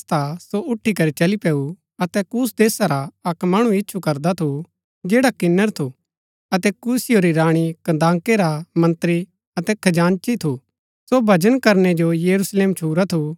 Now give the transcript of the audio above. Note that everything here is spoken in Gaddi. सो उठी करी चली पैऊ अतै कूश देशा रा अक्क मणु इच्छु करदा थू जैडा किन्‍नर थू अतै कूशियों री राणी कन्दाके रा मंत्री अतै खजांची थू सो भजन करनै जो यरूशलेम छुरा थू